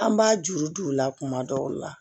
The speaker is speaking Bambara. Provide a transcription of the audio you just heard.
An b'a juru don u la kuma dɔw la